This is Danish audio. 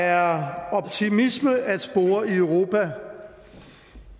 der er optimisme at spore i europa